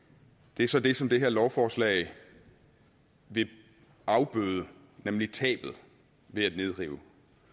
det er så det som det her lovforslag vil afbøde nemlig tabet ved at nedrive